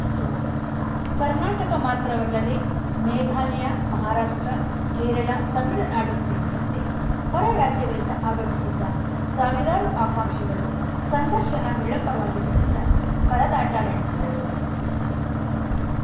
start Karnataka ಮಾತ್ರವಲ್ಲದೇ ಮೇಘಾಲಯ ಮಹಾರಾಷ್ಟ್ರ ಕೇರಳ ತಮಿಳುನಾಡು ಸೇರಿದಂತೆ ಹೊರ ರಾಜ್ಯಗಳಿಂದ ಆಗಮಿಸಿದ್ದ ಸಾವಿರಾರು ಆಕಾಂಕ್ಷಿಗಳು ಸಂದರ್ಶನ ವಿಳಂಬವಾಗಿದ್ದರಿಂದ ಪರದಾಟ ನಡೆಸಿದರು